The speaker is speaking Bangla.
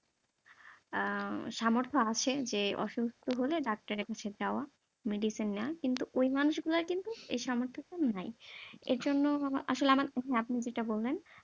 আহ সামর্থ আছে যে অসুস্থ হলে ডাক্তারের কাছে যাওয়া, medicine নেওয়া কিন্তু ওই মানুষ গুলোর কিন্তু এই সামর্থটাও নাই। এর জন্য আসলে আমার, আপনি যেটা বললেন